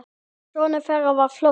Sonur þeirra var Flosi.